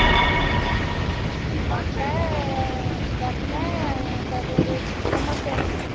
ତାପରେ ସମସ୍ତେ ଆସିଥିଲେ